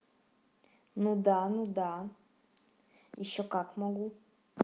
ну да ну да ещё как могу